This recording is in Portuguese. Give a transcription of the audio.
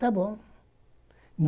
Tá bom.